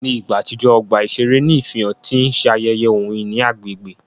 Ní ìgbà àtijọ́, ọgbà iṣere ní ìfihàn ti n ṣe ayeye ohun-ìní agbègbè.